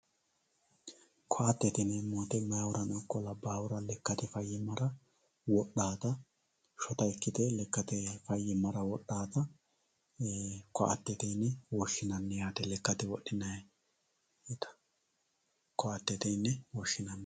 koattete yineemmo woyiite meyaatera ikko labbaahura lekkate fayyimmara wodhawoota shota ikkite lekkate fayyimmara wodhawoota ko"attete yine woshshinanni yaate lekkate wodhinayiita ko"attete yine woshshinayi